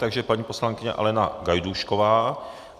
Takže paní poslankyně Alena Gajdůšková.